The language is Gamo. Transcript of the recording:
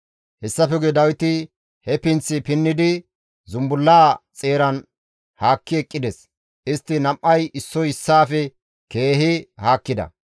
Hessafe guye Dawiti he pinththi pinnidi zumbullaa xeeran haakki eqqides; istti nam7ay issoy issaafe keehi haakkida.